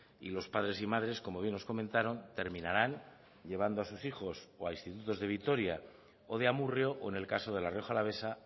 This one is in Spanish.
y los padres y madres como bien nos comentaron terminarán llevando a sus hijos o a institutos de vitoria o de amurrio o en el caso de la rioja alavesa